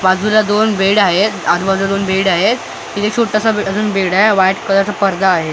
बाजूला दोन बेड आहेत आजूबाजूला दोन बेड आहेत इथे छोटासा अजून बेड आहे व्हाईट कलरचा पडदा आहे .